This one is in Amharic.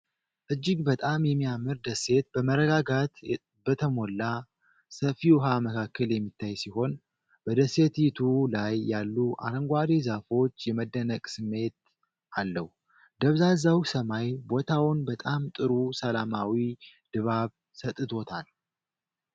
እጅግ በጣም የሚያምር ደሴት በመረጋጋት በተሞላ ሰፊ ውሃ መካከል የሚታይ ሲሆን፣ በደሴቲቱ ላይ ያሉ አረንጓዴ ዛፎች የመደነቅ ስሜት አለው። ደብዛዛው ሰማይ ቦታውን በጣም ጥሩ ሰላማዊ ድባብ ሰጥቶታል።